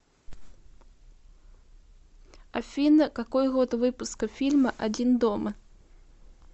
афина какой год выпуска фильма один дома